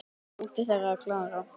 Dóttir þeirra er Klara.